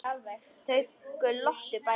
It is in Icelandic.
Þau glottu bæði.